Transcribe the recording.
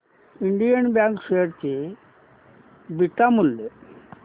Indian bank share चे beta मूल्य